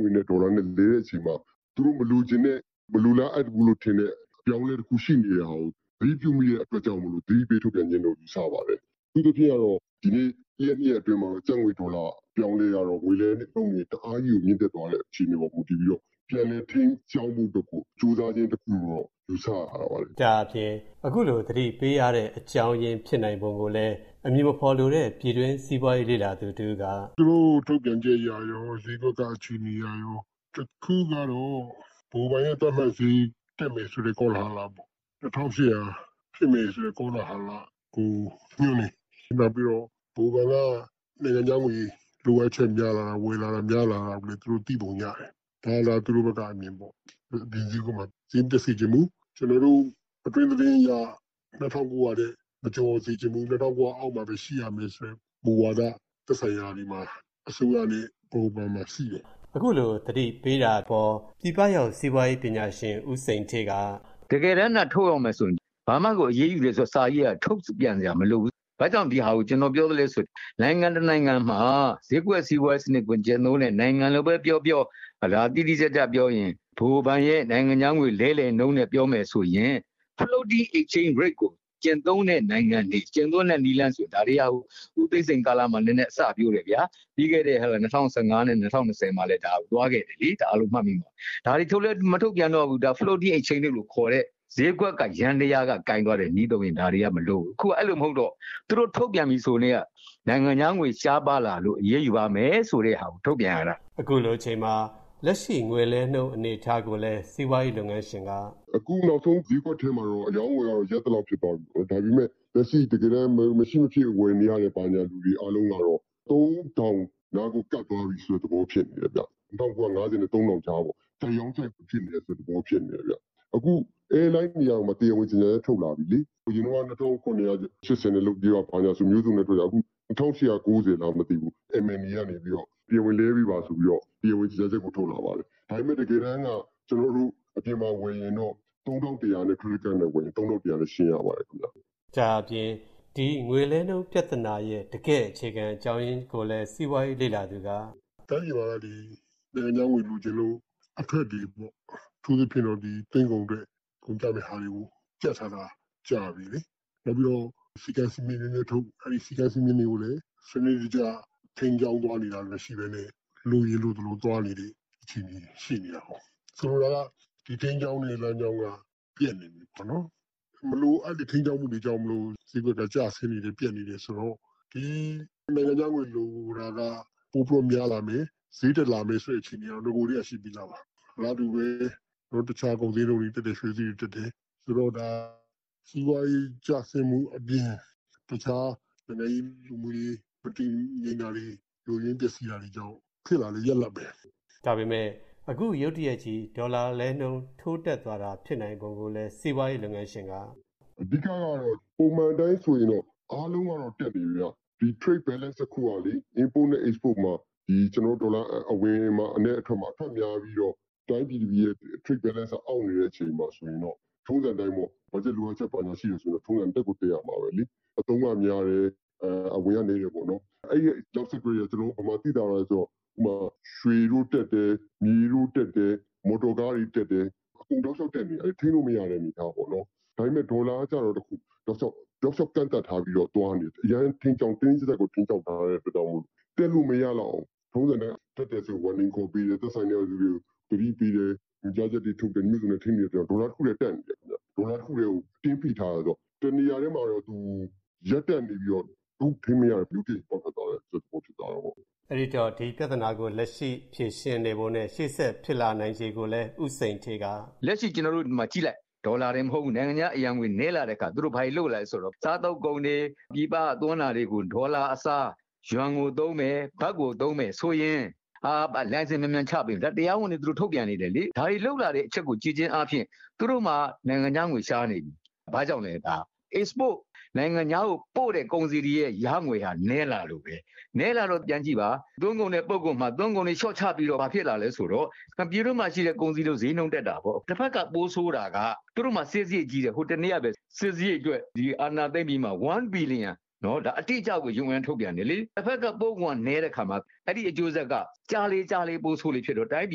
ငွေနဲ့ဒေါ်လာလဲတဲ့အချိန်မှာသူတို့မလိုချင်တဲ့၊ မလိုလားအပ်ဘူးထင်တဲ့အပြောင်းအလဲတခုရှိနေတာကို သတိပြုမိတဲ့အတွက်ကြောင့်၊ သတိပေးထုတ်ပြန်တယ်လို့ယူဆပါတယ်။ အထူးသဖြင့်ကတော့ ဒီကနေ့တရက်နှစ်ရက် အတွင်းမှာ ကျပ်ငွေဒေါ်လာ အပြောင်းအလဲကတော့ ငွေလဲနှုန်းတအားကြီးကိုမြင့်တက်သွားတဲ့အခြေအနေ ပေါ်မူတည်ပြီးတော့ ပြန်လည်ထိန်းကြောင်းဖို့အတွက်ကို ကျိုးစားခြင်းတခုလို့ တော့ယူဆရတာပေါ့လေ” “ သူတို့ထုတ်ပြန်ချက်အရရော ဈေးကွက်ကအခြေအနေအရရော အခုကတော့ ဗဟိုဘဏ်ရဲ့သတ်မှတ်ဈေးတက်မယ်ဆို တဲ့ကောလဟာလပေါ့။ ၂၈၀၀ ဖြစ်မယ်ဆိုတဲ့ကောလဟာလကို ညွှန်းတယ်၊ နောက်ပြီးတော့ဗဟိုဘဏ်က နိုင်ငံခြားငွေ လိုအပ်ချက်များလာတာ၊ ဝယ်လာတာများလာတာကိုလည်းသူတို့သိပုံရတယ်။ ဒါကသူတို့ဘက်ကအမြင်ပေါ့။ အပြင်ဈေးမှာဈေးမတက်စေ့ချင်ဘူး၊ ကျနော်တို့အတွင်းသတင်းအရ ၂၉၀၀ ထက်မကျော်စေ့ချင်ဘူး၊ ၂၉၀၀ အောက် မှာဘဲရှိရမယ်ဆိုတဲ့မူဝါဒ သက်ဆိုင်ရာတွေမှာ၊ အစိုးရနဲ့ဗဟိုဘဏ်မှာရှိတယ်။” “ တကယ်တမ်းသာ ထုတ်ရောင်းမယ်ဆိုရင်ဘာမှဒီအရေးယူမယ်ဆိုတဲ့စာကြီးကထုတ်ပြန်စရာမလိုဘူး။ ဘာကြောင့်ဒါကို ကျနော်ပြောလဲဆိုရင်၊ နိုင်ငံတနိုင်ငံမှာ ဈေးကွက်စီးပွားရေးစနစ်ကိုကျင့်တဲ့နိုင်ငံလိုဘဲပြောပြော၊ တိတိကျကျပြောရင် ဗဟိုဘဏ်ရဲ့ နိုင်ငံခြားငွေလဲလှယ်နှုန်းနဲ့ပြောမယ်ဆိုရင်၊ Floating Exchage Rate နည်းလမ်းကိုကျင့်သုံးတဲ့ နိုင်ငံတွေဆိုရင်၊ ဦးသိန်းစိန်လက်ထက်တုန်းကနဲနဲအစပျိုးတယ်ဗျာ၊ ပြီးခဲ့တဲ့ ၂၀၁၅ နဲ့ ၂၀၂၀ မှာတုန်းကလည်းသွားခဲ့တယ်လေ၊ အားလုံးမှတ်မိမှာပါ၊ ဒါတွေထုတ်လည်းမထုတ်ပြန်တော့ဘူး၊ Floating Exchange Rate လို့ခေါ်တဲ့ဈေးကွက်ယန္တယားက ကိုင်သွားတဲ့နည်းသုံးရင်ဒါတွေကမလိုတော့ဘူး၊ အခုက အဲလိုမဟုတ်တော့၊ အခုထုတ်ပြန်ပြီဆိုကတည်းက နိုင်ငံခြားငွေရှားပါးလာလို့ အရေးယူမယ်ဆိုတာကို ထုတ်ပြန်ရတာ။” “ အခုနောက်ဆုံးဈေးကွက်ထဲမှာက အရောင်းအဝယ်ကရပ်သလောက်ဖြစ်သွားပြီပေါ့၊ ဒါပေမယ့် လက်ရှိတကယ်တမ်း မရှိမဖြစ်ဝယ်ယူနေရသူတွေအားလုံးက ၃၀၀၀ နားကိုကပ်သွားပြီဆိုတဲ့သဘောဖြစ်နေတယ်၊ ၂၉၅၀ နဲ့ ၃၀၀၀ ကြားပေါ့။ ကြိုက်ရောင်း၊ ကြိုက်ဝယ်သဘောမျိုးဖြစ်နေတယ်ဗျ။ အခု Air Line တွေကတရားဝင်ကြေငြာချက် ထုတ်လာပြီလေ၊ အရင်က ၂၇၈၀ နဲ့ လုပ်ပေးပါဆိုတာမျိုးပြောခဲ့တာ၊ အခု ၂၈၉၀ လားမသိဘူး၊ လဲပေးပါဆိုပြီးတော့ MMA ကတောင်းဆိုတဲ့၊ တရားဝင်ကြေငြာချက်ထွက်လာတယ်။ ဒါပေမယ့်တကယ်တမ်းက ကျနော်တို့၊ အပြင်မှာဝယ်ရင်တော့၊ ခရက်တစ်ကဒ်နဲ့ဝယ်ရင်တော့ ၃၁၀၀ နဲ့ရှင်းပေးရပါတယ်။” “ တိုင်းပြည်မှာက ဒီနိုင်ငံခြားငွေလိုချင်လို့၊ အထွက်တွေပေါ့၊ ဒီသွင်းကုန်အတွက်ကုန်ကျမယ့်ဟာတွေကိုကြပ်ထားတာ ကြာပီလေ၊ နောက်ပြီးတော့ စည်းကမ်းစည်းမျဉ်းတွေနင်းထုတ်၊ အဲဒိစည်းကမ်းစည်းမျဉ်းတွေကိုလည်း စနစ်တကျ ထိန်းကြောင်းသွားနေတာမရှိဘဲနဲ့၊ လိုရင်လိုသလိုသွားနေတဲ့အခြေအနေတွေရှိနေတာကို၊ ဆိုလိုတာက ဒီထိန်းကြောင်း တဲ့လမ်းကြောင်းက ပျက်နေပြီပေါ့နော်၊ မလိုအပ်တဲ့ထိန်းကြောင်းမှုတွေကြောင့် ဈေးကွက်ကျဆင်းနေတယ်၊ ပျက်နေ တယ်ဆိုတော့၊ ဒီနိုင်ငံခြားငွေလိုတယ်တာကပိုပြီးတော့များလာမယ်၊ ဈေးတက်လာမယ်၊ လာမယ်ဆိုတဲ့အခြေအနေက အရင်ကတည်းကရှိပြီးသားပါ။ အလားတူဘဲအခြားကုန်ဈေးနှုန်းတွေတက်တယ်၊ ရွှေဈေးတွေတက်တယ်။ ဆိုတော့ဒါစီးပွားရေးကျဆင်းမှုအပြင် အခြားနိုင်ငံရေးလူမှုရေး၊ မတည်ငြိမ်တာတွေ ယိုယွင်းပျက်စီးတာ ကြောင့်ဖြစ် လာတဲ့ရလဒ်ဘဲ၊” “ အဓိကကတော့ ပုံမှန်အတိုင်းဆိုရင်တော့ အားလုံးကတော့တက်နေတယ်ဗျ။ ဒီ Trade balance မှာ Import and Export မှာ ဒေါ်လာအဝင်နဲ့အထွက်မှာ၊ အထွက်များပြီးတော့ တိုင်းပြည်ရဲ့ Trade balance ကမညီမျှဖြစ်နေတဲ့အခြေအနေမှာဆိုရင်ပေါ့၊ ထုံစံအတိုင်းဘတ်ဂျက်လိုအပ်ချက်ရှိတယ် ဆိုရင်တော့၊ ထုံစံအတိုင်းတက်ကိုတက်ရမှာဘဲလေ။ အသုံးကများတယ်၊ အဝင်ကနည်းတယ်ပေါ့နော်၊ အဲဒိနောက် ဆက်တွဲတွေကဘယ်မှာသိသာသွားလဲဆိုတော့၊ ကျနော်တို့ရွှေဈေးတက်တယ်၊ မြေဈေးတက်တယ်၊ မော်တော်ကားဈေးတွေတက်တယ်၊ အကုန်တောက်လျောက်တက်နေတာ၊ အကုန်ထိန်းလို့မရတဲ့သဘောပေါ့နော်၊ ဒါပေမယ့်ဒေါ်လာကကျတော့ တောက်လျောက်ကန့်သန့်ထားပြီးတော့သွားနေတာ၊ အရမ်းတင်းတင်းကြပ်ကြပ်ကိုထိန်း ကြောင်းထားတဲ့အတွက်ကြောင့်မလို့ တက်လို့မရလောက်အောင်၊ ထုံစံအတိုင်း တက်တယ်ဆိုရင်သတိပေးတယ်၊ သက်ဆိုင်ရာလူတွေကိုသတိပေးတယ်။ ညွှန်ကြားချက်တွေထုတ်တယ်၊ မျိုးစုံနဲ့ထိန်းတယ်ဆိုတော့၊ ဒေါ်လာတခုထဲကို အတင်းဖိထားတာဆိုတော့ တနေရာထဲမှာရပ်တန့်နေပြီးတော့၊ အခုထိန်းမရ တော့တဲ့အခြေအနေမျိုးမှာ ရုတ်တရက်ကြီး ပေါက်ထွက်သွားတဲ့အခြေအနေမျိုးဖြစ်သွားတာပေါ့။” “ လက်ရှိဒေါ်လာတင်မကဘူး၊ နိုင်ငံခြားအရံငွေနည်းလာတဲ့အခါ၊ သူတို့ဘာတွေလုပ်လာဆိုတော့ စားသုံးကုန်တွေ၊ ပြည်ပကသွင်းတာတွေကိုဒေါ်လာအစားယွမ်ကိုသုံးမယ်၊ ဘတ်ကိုသုံးမယ်ဆိုရင်၊ လိုင်စင်မြန်မြန်ချပေး၊ ဒါတွေ တရားဝင်တွေထုတ်ပြန်နေတယ်လေ၊ ဒါတွေလုပ်လာတဲ့အချက်ကိုကြည့်ခြင်းအားဖြင့်၊ သူတို့မှာနိုင်ငံခြားငွေရှားနေပြီ၊ ဘာကြောင့်လည်းဒါက နိုင်ငံခြားကိုတင်ပို့တဲ့ကုန်စည်တွေရဲ့ဝင်ငွေကနည်းလာလို့ဘဲ၊ နည်းလာတော့ပြန်ကြည့်ပါ၊ သွင်းကုန်နဲ့ပို့ကုန် မှာသွင်းကုန်တွေလျော့ချတော့ ဘာဖြစ်လာလဲဆိုတော့ ပြည်တွင်းမှာရှိတဲ့ကုန်စည်တွေ ဈေးနှုန်း တွေတက်ကုန်တာပေါ့၊ တဘက်မှာပိုဆိုးတာက သူတို့မှာစစ်စားရိတ်ကြီးတယ်၊ ဟိုတနေ့ကဘဲ စစ်စားရိတ်အတွက် ဒီအာဏာသိမ်းပြီးမှာ ၁ ဘီလီယံရှိတယ်၊ ဒါ UN ကထုတ်ပြန်တယ်လေ၊ တဘက်ကပို့ကုန်ကနည်းတဲ့အခါမှာ အဲဒိအကျိုးဆက်က ကြာလေကြာလေပိုဆိုးလေဖြစ်လာတော့၊ တိုင်းပြ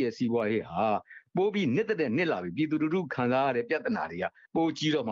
ည်ရဲ့စီးပွားရေး ဟာပိုပြီးနစ်သထက်နစ်လာပြီး၊ ပြည်သူလူထုခံစားရတဲ့ ပြဿနာတွေကပိုကြီးတော့မ